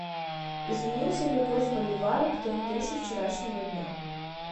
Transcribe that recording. изменился ли курс боливара к тенге со вчерашнего дня